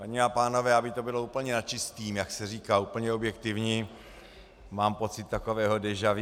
Paní a pánové, aby to bylo úplně na čistém, jak se říká, úplně objektivní, mám pocit takového déjà vu.